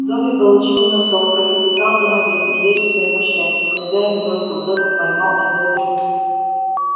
добби получил носок пролепетал домовик не веря своему счастью хозяин бросил добби поймал и добби